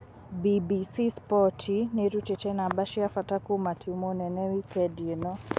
BBC Sport niirutite namba cia bata kuuma timu nene wikendi ino.